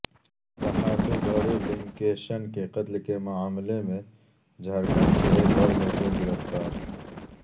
صحافی گوری لنکیشن کے قتل کے معاملہ میں جھارکھنڈ سے ایک اور ملزم گرفتار